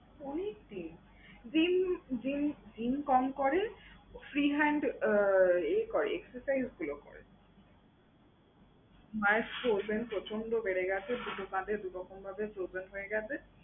অনেক দিন gym gym gym কম করে, free hand উহ exercise গুলো করে। মায়ের sholder প্রচণ্ড বেড়ে গেছে দু কাঁধে দু রকমভাবে হয়ে গেছে।